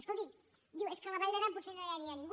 escoltin diu és que a la vall d’aran potser no hi anirà ningú